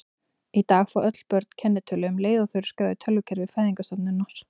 Í dag fá öll börn kennitölu um leið og þau eru skráð í tölvukerfi fæðingarstofnunar.